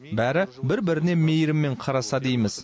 бәрі бір біріне мейіріммен қараса дейміз